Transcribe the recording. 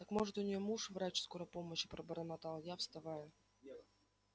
так может у нее муж врач скорой помощи пробормотал я вставая